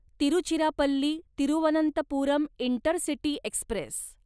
Tiruchirappalli Thiruvananthapuram intercity Express